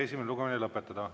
Esimene lugemine on lõpetatud.